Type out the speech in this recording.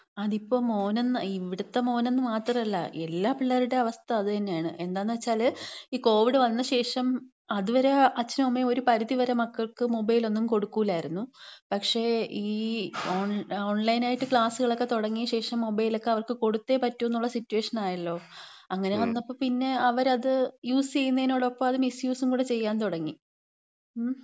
അതിപ്പോ, മോനെന്ന്. ഇവിടുത്തെ മോന് മാത്രല്ല, എല്ലാ പിള്ളേരുടെയും അവസ്ഥ അത് തന്നെയാണ്. എന്താന്ന് വച്ചാല് ഈ കോവിഡ് വന്ന ശേഷം, അതുവരെ അച്ഛനും അമ്മയും ഒരു പരിധി വരെ മക്കൾക്ക് മൊബൈലൊന്നും കൊടുക്കൂലായിരുന്നു. പക്ഷേ, ഈ, ഓൺലൈനായിട്ട് ക്ലാസുകളൊക്കെ തൊടങ്ങിയ ശേഷം മൊബൈൽ ഒക്കെ അവർക്ക് കൊടുത്തേ പറ്റു എന്ന സിറ്റുവേഷൻ ആയല്ലോ. അങ്ങനെ വന്നപ്പം, പിന്നെ അവരത് യൂസ് ചെയ്യുന്നേനോടൊപ്പം അത് മിസ്യൂസും കൂടി ചെയ്യാൻ തുടങ്ങി. മ്